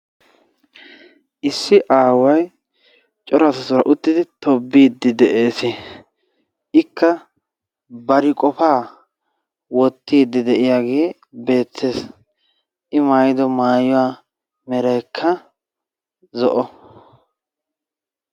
Issi aawaa cora asatuura uttidi tobbide de'ees. Ikka bari qopaa wottide de'iyagee beettees. I maayyido maayuwa meraykka zo''o.